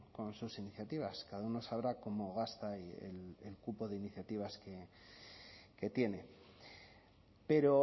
con sus iniciativas cada uno sabrá cómo gasta el cupo de iniciativas que tiene pero